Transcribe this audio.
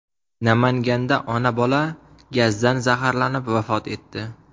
Namanganda ona-bola gazdan zaharlanib vafot etdi.